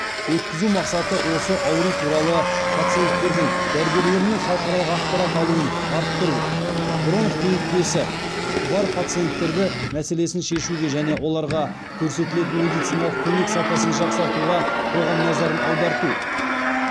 өткізу мақсаты осы ауру туралы пациенттердің дәрігерлер мен халықаралық ақпарат алуын арттыру бронх демікпесі бар пациенттерді мәселесін шешуге және оларға көрсетілетін медициналық көмек сапасын жақсартуға қоғам назарын аударту